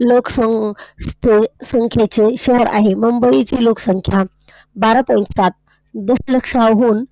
लोकसंख्येचे शहर आहे. मुंबई ची लोकसंख्या बारा Point सात .